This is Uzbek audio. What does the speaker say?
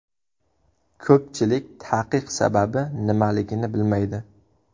Ko‘pchilik taqiq sababi nimaligini bilmaydi.